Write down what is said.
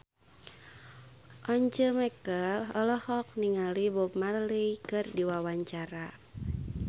Once Mekel olohok ningali Bob Marley keur diwawancara